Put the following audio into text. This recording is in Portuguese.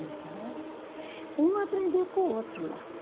Então, uma aprendia com o outro lá.